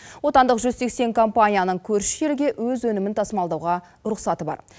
отандық жүз сексен компанияның көрші елге өз өнімін тасымалдауға рұқсаты бар